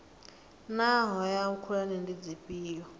naa hoea khulwane ndi dzifhio